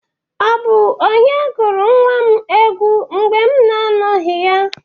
Ọ bụ onye gụrụ nwa m egwu mgbe m na-anọghị ya?